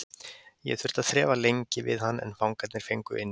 Ég þurfti að þrefa lengi við hann en fangarnir fengu inni.